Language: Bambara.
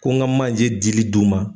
Ko ŋa manje diili d'u ma